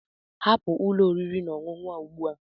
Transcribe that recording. Hapụ ụlọ oriri na ọṅụṅụ a ugbu a!